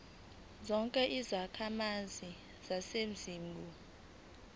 zonke izakhamizi zaseningizimu